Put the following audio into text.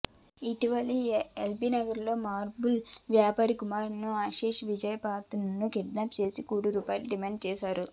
ఇటీవల ఎల్బీనగర్లో మార్బుల్ వ్యాపారి కుమారుడు ఆశీష్ విజయ్ పాత్రను కిడ్నాప్ చేసి కోటి రూపాయలు డిమాండ్ చేశారు